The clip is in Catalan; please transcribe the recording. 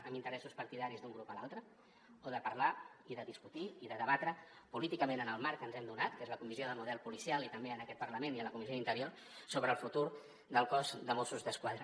amb interessos partidaris d’un grup a l’altre o de parlar i de discutir i de debatre políticament en el marc que ens hem donat que és a la comissió d’estudi del model policial i també en aquest parlament i a la comissió d’interior sobre el futur del cos de mossos d’esquadra